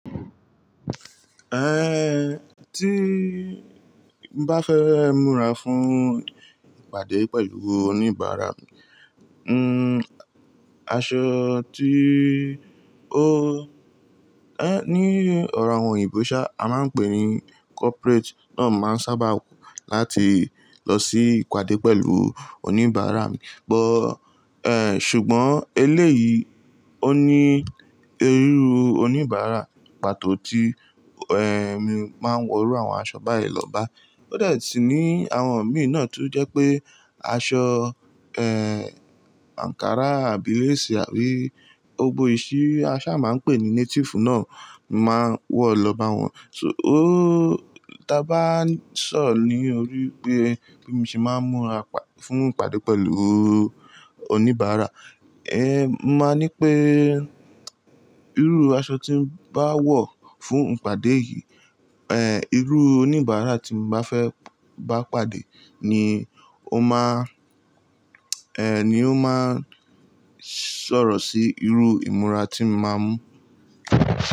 Eh, tí bá fẹ́ múra fún ìpàdé pẹ̀lú oníbàárà mí hmm aṣọ tí ó, ẹ́, ní ọ̀rọ̀ àwọn òyìnbó ṣá, a máa ń pè ní corporate náà máa ń sábà wò láti lọ sí ìpàdé pẹ̀lú oníbàárà. Ẹ̀n, ṣùgbọ́n eléyìí ó ní irú oníbàárà pàtó tí, ẹ́, mi máa ń wọ irú àwọn aṣọ báyìí lọ́ba. Ó dè tú ní àwọn mi náà tó jẹ́ pé aṣọ, ẹ́, Ankara àbí lace àbí ọgbó ìṣí, a ṣa máa ń pè ní native náà máa wọ̀ lọ́ba wọn. So, ó, tí a bá ń sọ̀ ní orí pé bí mo ṣe máa ń múra fún ìpàdé pẹ̀lú oníbàárà, ẹ́, mó máa ní pé irú aṣọ tí bá wọ̀ fún ìpàdé yìí, ẹ́, irú oníbàárà tí mo bá fẹ́ bá pàdé ni ó máa, ẹ́, ni ó máa sọ̀rọ̀ sí irú ìmúra tí mó máa mú.